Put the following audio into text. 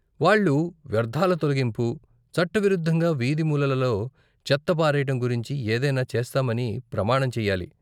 వాళ్ళు వ్యర్ధాల తొలగింపు, చట్టవిరుద్ధంగా వీధి మూలలలో చెత్త పారేయటం గురించి ఏదైనా చేస్తామని ప్రమాణం చెయ్యాలి.